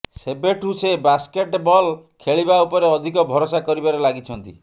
ସେବେଠୁ ସେ ବାସ୍କେଟେବଲ୍ ଖେଳିବା ଉପରେ ଅଧିକ ଭରଷା କରିବାରେ ଲାଗିଛନ୍ତି